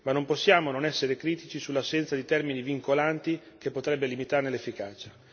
Ma non possiamo non essere critici sull'assenza di termini vincolanti che potrebbe limitarne l'efficacia.